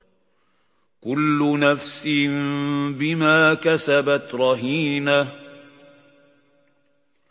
كُلُّ نَفْسٍ بِمَا كَسَبَتْ رَهِينَةٌ